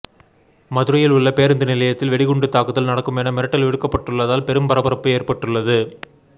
மதுரையில் உள்ள பேருந்து நிலையத்தில் வெடிகுண்டு தாக்குதல் நடக்கும் என மிரட்டல் விடுக்கப்பட்டுள்ளதால் பெரும் பரபரப்பு ஏற்பட்டுள்ளது